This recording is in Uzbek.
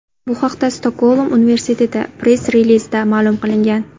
Bu haqda Stokgolm universiteti press-relizida ma’lum qilingan .